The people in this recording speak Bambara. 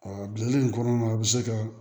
bilali in kɔnɔna na a bɛ se ka